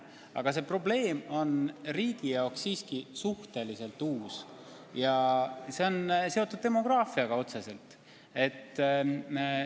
Aga see probleem on riigi jaoks suhteliselt uus, otseselt on see seotud demograafilise olukorraga.